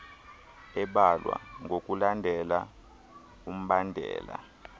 ebalwe ngokulandela umbandela